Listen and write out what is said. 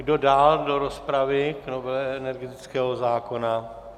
Kdo dál do rozpravy k novele energetického zákona?